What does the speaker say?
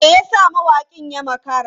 Me yasa mawakin ya makara?